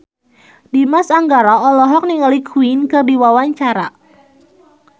Dimas Anggara olohok ningali Queen keur diwawancara